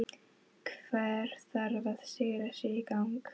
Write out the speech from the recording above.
Hver þarf að rífa sig í gang?